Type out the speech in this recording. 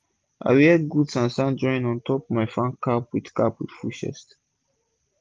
i wear gud san-san drawin ontop my farm cap wit cap wit full chest